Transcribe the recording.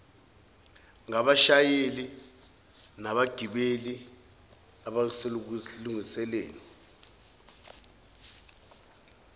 ngabashayeli nabagibeli abalusebenzisa